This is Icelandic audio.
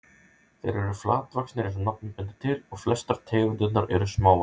Þeir eru flatvaxnir eins og nafnið bendir til og flestar tegundirnar eru smávaxnar.